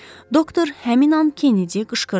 Doktor həmin an Kennedy qışqırdı.